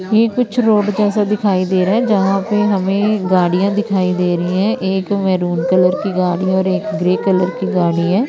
ये कुछ रोड जैसा दिखाई दे रहा है। जहां पर हमें गाड़ियां दिखाई दे रही है। एक मरुन कलर की गाड़ी और एक ग्रे कलर की गाड़ी है।